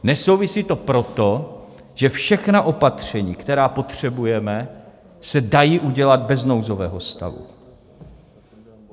Nesouvisí to proto, že všechna opatření, která potřebujeme, se dají udělat bez nouzového stavu.